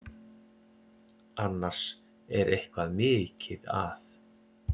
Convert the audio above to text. Annars er eitthvað mikið að.